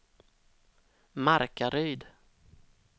Markaryd